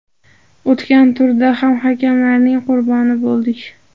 O‘tgan turda ham hakamlarning qurboni bo‘ldik.